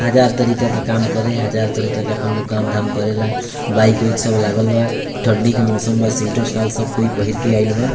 हजार तरीका के काम करे हेय हजार तरीका के लोग अपन काम धाम करे ला बाइक उइक सब लागल बा ठंडी के मौसम बा स्वेटर साल सब सब कोई पहिर के आइल बा।